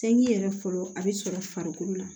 Sɛki yɛrɛ fɔlɔ a bɛ sɔrɔ farikolo la